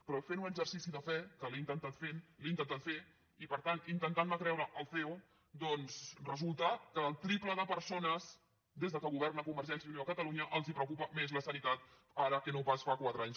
però fent un exercici de fe que l’he intentat fer i per tant intentant me creure el ceo doncs resulta que al triple de persones des que governa convergència i unió a catalunya els preocupa més la sanitat ara que no pas fa quatre anys